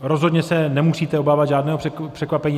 Rozhodně se nemusíte obávat žádného překvapení.